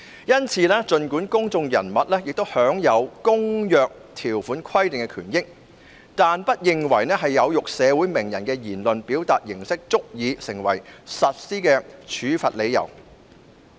因此，儘管公眾人物也享有《公約》條款規定的權益，但委員會不認為有辱社會名人的言論的表達形式足以成為處罰的理由。